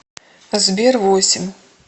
сбер восемь